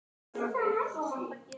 Ég fór bara hjá mér.